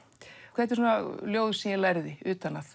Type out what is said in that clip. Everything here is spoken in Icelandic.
þetta eru ljóð sem ég lærði utan að